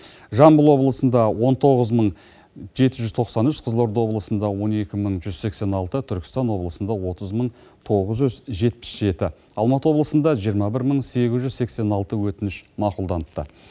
жамбыл облысында он тоғыз мың жеті жүз тоқсан үш қызылорда облысында он екі мың жүз сексен алты түркістан облысында отыз мың тоғыз жүз жетпіс жеті алматы облысында жиырма бір мың сегіз жүз сексен алты өтініш мақұлданыпты